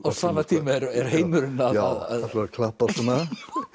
á sama tíma er heimurinn að að klappa svona